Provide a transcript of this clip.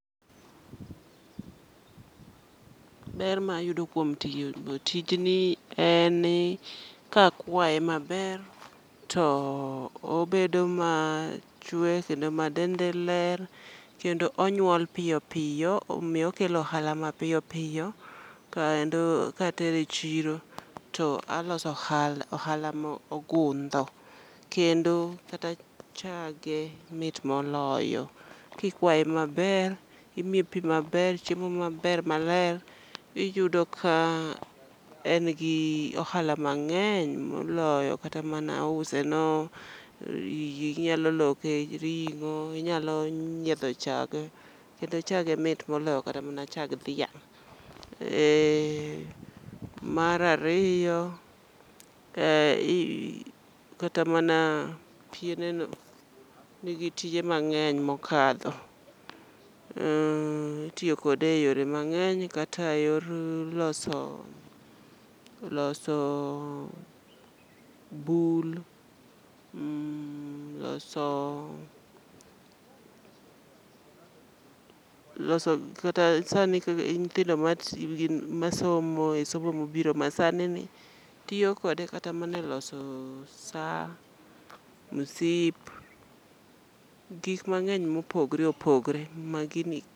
Ber ma ayudo kuom tiyo tijni en ni ka akwae maber to obedo machwe kendo ma dende ler kendo onyuol piyo piyo. Omiyo okelo ohala ma piyo piyo, kaendo katere chiro taloso ohala mogundho. Kendo kata chage mit moloyo, kikwae maber, imiye pi maber, chiemo maber maler. Iyudo ka engi ohala mang'eny moloyo kata use no, inyalo loke ring'o, inyalo nyiedho chak. Kendo chage mit moloyo kata chag dhiang'. Marariyo, kata mana piene no nigi tije mang'eny mokadho. Itiyokode e yore mag'eny kata e yor loso bul, loso loso kata sani nyithindo ma somo e somo mobiro masani ni tiyo kode kata maneloso saa, msip, gik mang'ey mopogre opogre ma gini.